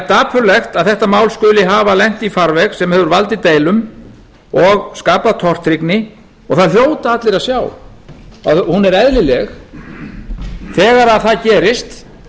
dapurlegt að þetta mál skuli hafa lent í farveg sem hefur valdið deilum og skapað tortryggni og það hljóta allir að sjá að hún er eðlileg þegar það gerist